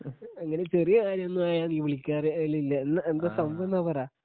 അങ്ങനെ ചെറിയ കാര്യോന്നുമായാൽ നീ വിളിക്കറെ ഇല്ല എന്നാ എന്താ സംഭവം എന്താ പറ.